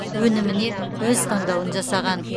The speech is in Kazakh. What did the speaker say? өніміне өз таңдауын жасаған